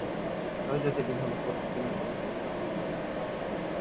ওই যে সেদিন হল পরশু দিন না কবে